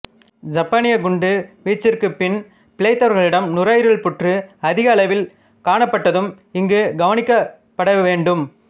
சப்பானிய குண்டு வீச்சிற்குப் பின் பிழைத்தவர்களிடம் நுரையீரல் புற்று அதிக அளவில் காணப்பட்டதும் இங்கு கவனிக்கபட வேண்டும்